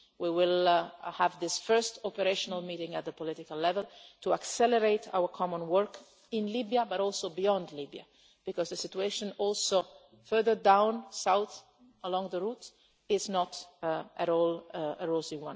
We will have this first operational meeting at a political level to accelerate our common work in Libya, but also beyond Libya because the situation further south along the route is also not at all